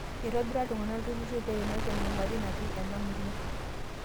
Eitobira iltung'ana ltururri peimaki enyamali natii inamurua